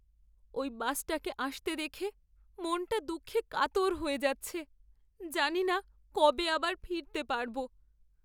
ওই বাসটাকে আসতে দেখে মনটা দুঃখে কাতর হয়ে যাচ্ছে। জানিনা কবে আবার ফিরতে পারব।